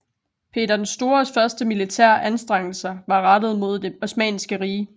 Peter den Stores første militære anstrengelser var rettet mod Det Osmanniske Rige